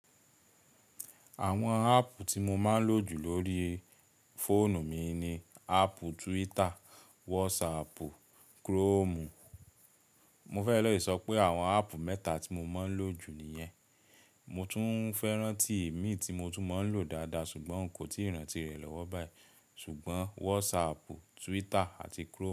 Àwọn áàpù tí mo máa ń lò jù lórí fóònù mi ni áàpù Twitter, WhatsApp, Chrome. Mo fẹ́ le ìsọ pé àwọn áàpù mẹ́ta tí mo máa ń lò jù nìyẹn. Mo tún fẹ́ rántí èmi tí mo tún máa ń lò dáadáa ṣùgbọ́n nkò tíì rántí rẹ̀ lọ́wọ́ báyìí. Ṣùgbọ́n WhatsApp, Twitter àti Chrome.